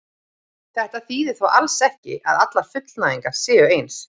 Þetta þýðir þó alls ekki að allar fullnægingar séu eins.